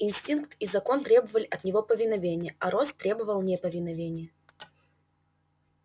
инстинкт и закон требовали от него повиновения а рост требовал неповиновения